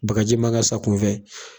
Bakaji man ka sa kunfɛ